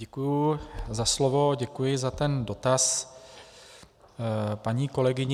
Děkuji za slovo, děkuji za ten dotaz paní kolegyni.